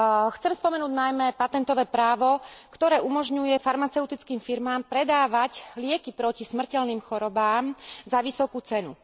Chcem spomenúť najmä patentové právo, ktoré umožňuje farmaceutickým firmám predávať lieky proti smrteľným chorobám za vysokú cenu.